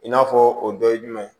I n'a fɔ o dɔ ye jumɛn ye